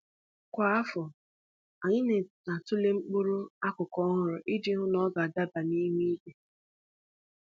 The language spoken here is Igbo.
Kwa afọ, anyị na-atụle mkpụrụ akụkụ ọhụrụ iji hụ na ọ ga-adaba n'ihu igwe.